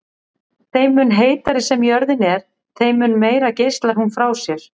Þeim mun heitari sem jörðin er þeim mun meira geislar hún frá sér.